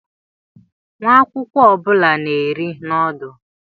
Nwa akwụkwọ ọ bụla na-eri noodlu.